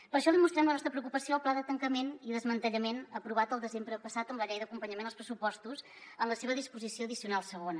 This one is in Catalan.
per això li mostrem la nostra preocupació al pla de tancament i desmantellament aprovat el desembre passat amb la llei d’acompanyament als pressupostos en la seva disposició addicional segona